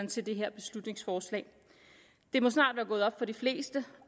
til det her beslutningsforslag det må snart være gået op for de fleste